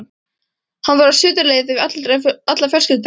Hann var á suðurleið með alla fjölskylduna.